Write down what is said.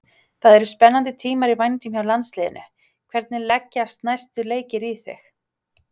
Það eru spennandi tímar í vændum hjá landsliðinu, hvernig leggjast næstu leikir í þig?